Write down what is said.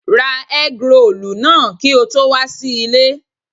Ra ẹ́grolù náà kí o tó wà sí ilé.